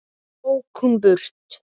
Svo ók hún í burtu.